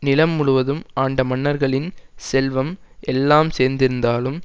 நிலம் முழுவதும் ஆண்ட மன்னர்களின் செல்வம் எல்லாம் சேர்ந்திருந்தாலும்